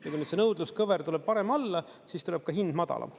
Kui nüüd see nõudluskõver tuleb varem alla, siis tuleb ka hind madalam.